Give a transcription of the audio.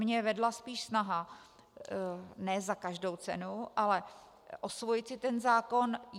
Mě vedla spíš snaha ne za každou cenu, ale osvojit si ten zákon.